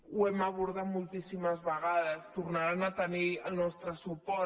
ho hem abordat moltíssimes vegades tornaran a tenir el nos·tre suport